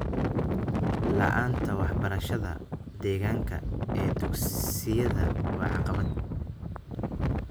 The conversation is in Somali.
La'aanta waxbarashada deegaanka ee dugsiyada waa caqabad.